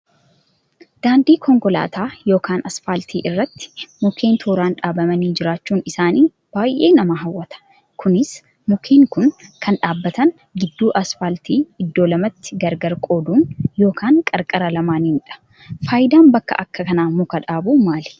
Daandii konkolaataa yookaan asfaaltii irratti mukkeen tooraan dhaabamanii jiraachuun isaanii baay'ee nama hawwata. Kunis mukkeen kun kan dhaabbatan gidduu alfaaltii iddoo lamatti gargar qooduun yookaan qarqara lamaaidha. Fayidaan bakka akkanaa muka dhaabuu maali?